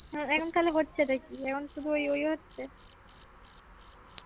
এখন তাহলে হচ্ছে টা কি এখন শুধু ওই ওই হচ্ছে